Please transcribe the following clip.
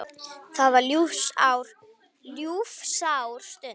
Það var ljúfsár stund.